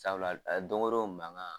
Sabula don wo don manga.